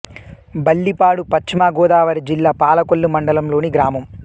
బల్లిపాడు పశ్చిమ గోదావరి జిల్లా పాలకొల్లు మండలం లోని గ్రామం